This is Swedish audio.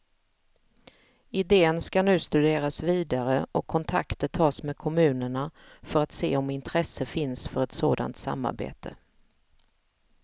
Idén skall nu studeras vidare och kontakter tas med kommunerna för att se om intresse finns för ett sådant samarbete.